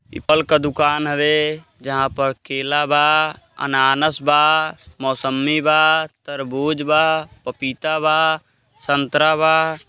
यह फल का दुकान हवे जहाँ पर केला बा अनानास बा मौसमी बा तरबूज़ बा पपीता बा सतरा बा।